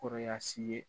Kɔrɔya si ye